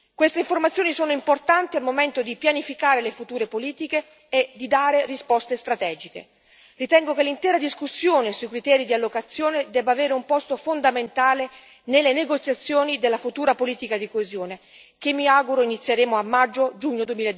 Queste informazioni sono importanti al momento di pianificare le future politiche e di dare risposte strategiche. Ritengo che l'intera discussione sui criteri di allocazione debba avere un posto fondamentale nelle negoziazioni della futura politica di coesione, che mi auguro inizieremo a maggio giugno